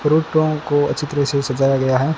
गुरुद्वारा को अच्छे तरीके सजाया गया है।